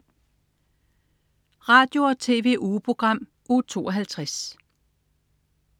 Radio- og TV-ugeprogram Uge 52